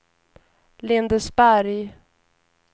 Lindesberg